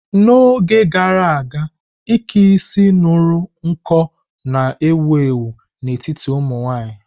N'oge gara aga, ike isi ñuru nko na-ewu ewu n'etiti ụmụ nwanyị.